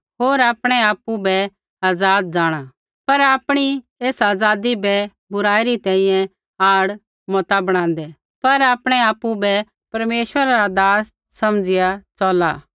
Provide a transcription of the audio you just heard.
होर आपणै आपु बै आज़ाद जाँणा पर आपणी एसा आज़ादी बै बुराई री तैंईंयैं आड़ मता बणादै पर आपणै आपु बै परमेश्वरा रा दास समझ़िया च़ला